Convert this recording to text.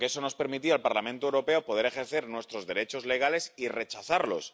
Porque eso nos permitiría al Parlamento Europeo poder ejercer nuestros derechos legales y rechazarlos.